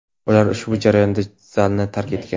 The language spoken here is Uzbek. Ular ushbu jarayonda zalni tark etgan.